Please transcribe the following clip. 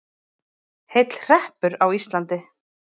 Heill hreppur á Íslandi.